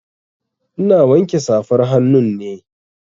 Ina wanke safar hannu ne.